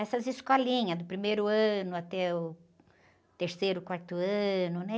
Essas escolinhas, do primeiro ano até o terceiro, quarto ano, né?